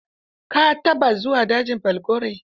Ka taɓa zuwa dajin falgore?